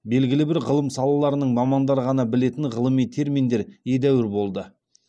белгілі бір ғылым салаларының мамандары ғана білетін ғылыми терминдер едәуір болды